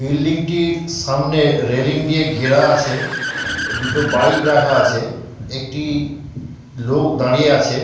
Building টির সামনে railing দিয়ে ঘেরা আছে দুটো বাইক রাখা আছে একটি লোক দাঁড়িয়ে আছে ।